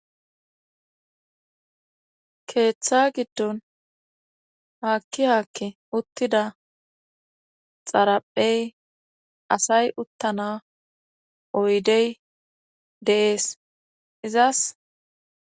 keeththa giddon haakki haakke uttida xaraphey asay uttana oydey de7ees izas